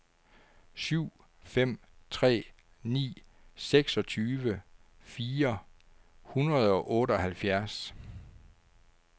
syv fem tre ni seksogtyve fire hundrede og otteoghalvfjerds